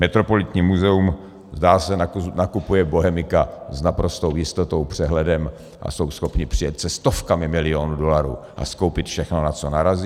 Metropolitní muzeum, zdá se, nakupuje bohemika s naprostou jistotou, přehledem a jsou schopni přijet se stovkami milionů dolarů a skoupit všechno, na co narazí.